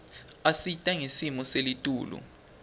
isita ngesimo selitulu